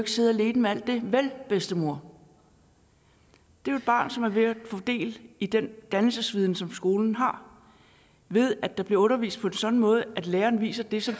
sidde alene med alt det vel bedstemor det er et barn som er ved at få del i den dannelsesviden som skolen har ved at der bliver undervist på en sådan måde at læreren viser det som